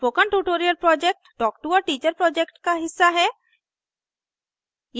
spoken tutorial project talk to a teacher project का हिस्सा है